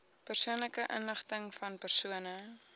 persoonlike inligtingvan persone